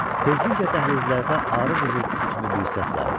Tezliklə dəhlizlərdə arı vızıltısı kimi bir səs yayıldı.